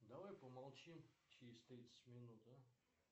давай помолчим через тридцать минут а